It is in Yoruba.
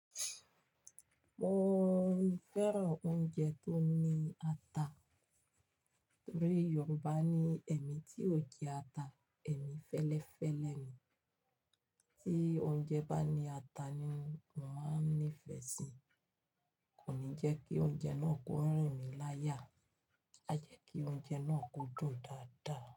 Mo fẹ́ràn oúnjẹ tó ní ata. Torí Yorùbá ní "ẹ̀mí tí ò jẹ ata, ẹ̀mí fẹ́lẹ́fẹ́ lẹ́ mi." Tí oúnjẹ bá ní ata ni mò ń nífẹ̀ẹ́ sí. Kò ní jẹ́ kí oúnjẹ náà kó rìn mí láyà, a jẹ́ kí oúnjẹ náà kó dùn dáadáa.